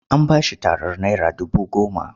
An ba shi tarar naira dubu goma.